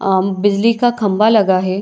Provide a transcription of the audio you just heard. आ बिजली का खम्भा लगा है।